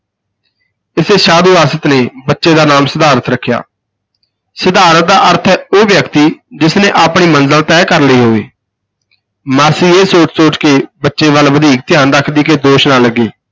ਇਸੇ ਸਾਧੂ ਆਸਿਤ ਨੇ ਬੱਚੇ ਦਾ ਨਾਮ ਸਿਧਾਰਥ ਰੱਖਿਆ, ਸਿਧਾਰਥ ਦਾ ਅਰਥ ਹੈ ਉਹ ਵਿਅਕਤੀ ਜਿਸ ਨੇ ਆਪਣੀ ਮੰਜ਼ਲ ਤੈਅ ਕਰ ਲਈ ਹੋਵੇ ਮਾਸੀ ਇਹ ਸੋਚ-ਸੋਚ ਕੇ ਬੱਚੇ ਵੱਲ ਵਧੀਕ ਧਿਆਨ ਰੱਖਦੀ ਕਿ ਦੋਸ਼ ਨਾ ਲੱਗੇ,